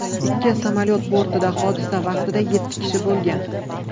Ikki samolyot bortida hodisa vaqtida yetti kishi bo‘lgan.